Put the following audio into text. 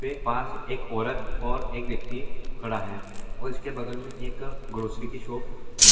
के पास एक औरत और एक व्यक्ति खड़ा है। और इसके बगल मे एक ग्रोसरी की शोप (शॉप) है।